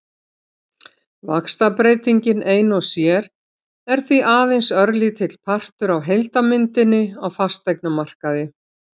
Vaxtabreytingin ein og sér er því aðeins örlítill partur af heildarmyndinni á fasteignamarkaði.